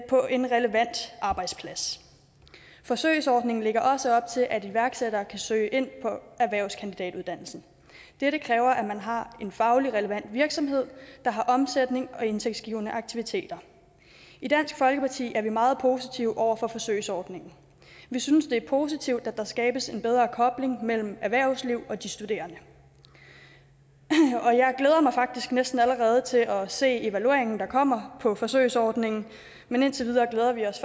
på en relevant arbejdsplads forsøgsordningen lægger også op til at iværksættere kan søge ind på erhvervskandidatuddannelsen dette kræver at man har en fagligt relevant virksomhed der har omsætning og indtægtsgivende aktiviteter i dansk folkeparti er vi meget positive over for forsøgsordningen vi synes det er positivt at der skabes en bedre kobling mellem erhvervsliv og de studerende og jeg glæder mig faktisk næsten allerede til at se evalueringen der kommer på forsøgsordningen men indtil videre glæder vi os